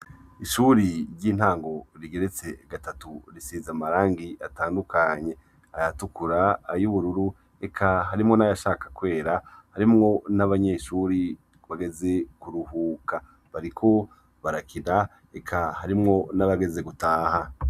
Ishure ry'intango rigeretse gatatu, risize amarangi atandukanye ayatukura, ay'ubururu eka harimwo nayashaka kwera, harimwo n'abanyeshure bageze kuruhuka, bariko barakina, eka harimwo nabageze gutaha.